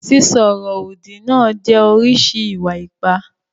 Sísọ ọ̀rọ̀-òdì náà jẹ́ oríṣi ìwà-ipá.